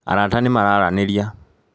Arata nĩ mararanĩria